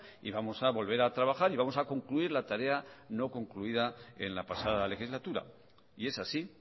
y vamos a volver a trabajar y vamos a concluir la tarea no concluida en la pasada legislatura y es así